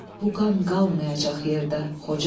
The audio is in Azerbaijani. O qan qalmayacaq yerdə, Xocalı.